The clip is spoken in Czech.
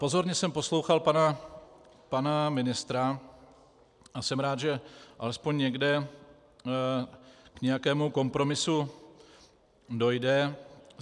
Pozorně jsem poslouchal pana ministra a jsem rád, že alespoň někde k nějakému kompromisu dojde.